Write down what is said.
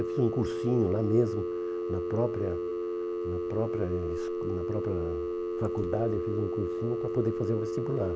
Eu fiz um cursinho lá mesmo, na própria na própria es na própria faculdade, eu fiz um cursinho para poder fazer o vestibular.